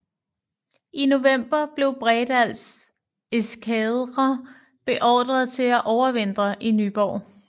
I november blev Bredals eskadre beordret til at overvintre i Nyborg